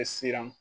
siran